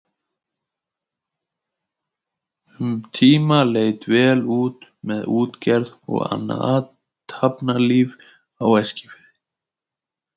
Um tíma leit vel út með útgerð og annað athafnalíf á Eskifirði.